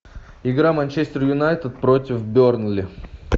игра манчестер юнайтед против бернли